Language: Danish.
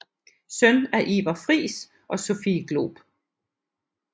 Søn af Iver Friis og Sophie Glob